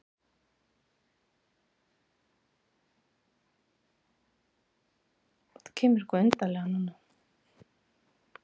Hefur umboðsmaður að einhverju leyti brugðist?